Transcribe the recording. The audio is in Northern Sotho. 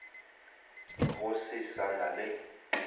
go se sa na le